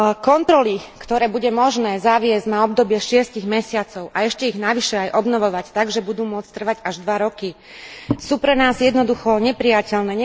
Kontroly, ktoré bude možné zaviesť na obdobie šiestich mesiacov a ešte ich navyše aj obnovovať tak, že budú môcť trvať až 2 roky, sú pre nás jednoducho neprijateľné.